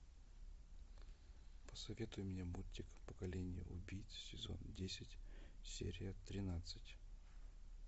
посоветуй мне мультик поколение убийц сезон десять серия тринадцать